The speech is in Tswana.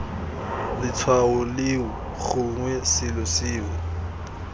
letshwao leo gongwe selo seo